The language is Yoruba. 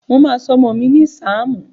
Mo máa sọ ọmọ mi ní sáàmù